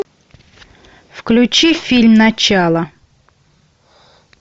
включи фильм начало